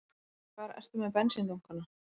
Hvar ertu með bensíndunkana?